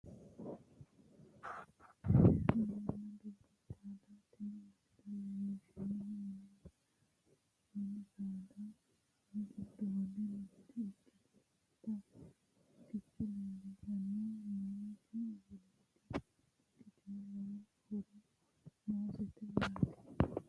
Mininna dubbu saada tini misile leellishshannohu mini saada giddonni mitte ikkitinota lukkicho leellishshanni noonke misileeti lukkicho lowo horo noosete yaate